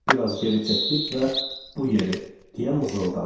Biraz geri çəkilib və bu yeri deyə mızıldandı.